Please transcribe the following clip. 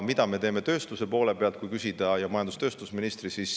Mida me teeme tööstuse poole pealt?